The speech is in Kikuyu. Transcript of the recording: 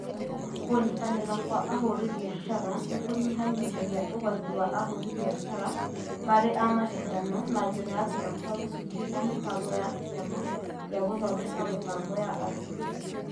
Kũnyitanĩra kwa ahũri biacara nĩ kũnyihanyihia ũgwati wa ahũri biacara marĩ a macindano na njĩra ya kũmatua gĩcunjĩ kĩa mĩbango ya Kĩama gĩa gũthondeka mĩbango ya arutwo.